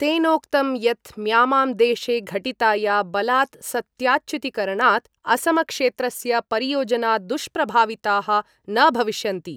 तेनोक्तं यत् म्यामां देशे घटिताया बलात् सत्ताच्युतिकरणात् असमक्षेत्रस्य परियोजना दुष्प्रभाविताः न भविष्यन्ति।